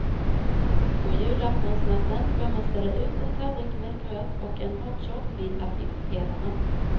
På julaftonsnatten bör man ställa ut en tallrik med gröt och en hot shot vid affischpelarna.